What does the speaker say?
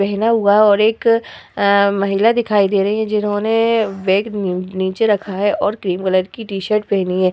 पहना हुआ और एक अं महिला दिखाई दे रही है जिन्होंने बैग नी नीचे रखा है और क्रीम कलर की टी-शर्ट पहनी है।